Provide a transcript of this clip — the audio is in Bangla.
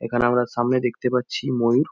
এখানে আমরা সামনে দেখতে পাচ্ছি ময়ূর।